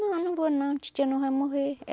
Não, eu não vou não, titia não vai morrer.